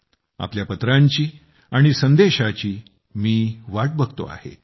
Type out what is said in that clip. तुमच्या पत्रांची आणि संदेशाची मी वाट बघतो आहे